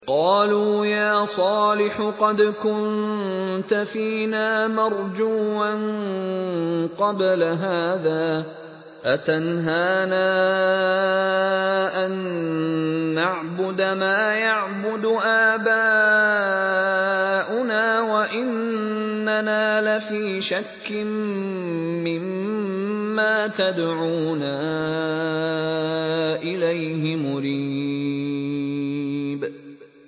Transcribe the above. قَالُوا يَا صَالِحُ قَدْ كُنتَ فِينَا مَرْجُوًّا قَبْلَ هَٰذَا ۖ أَتَنْهَانَا أَن نَّعْبُدَ مَا يَعْبُدُ آبَاؤُنَا وَإِنَّنَا لَفِي شَكٍّ مِّمَّا تَدْعُونَا إِلَيْهِ مُرِيبٍ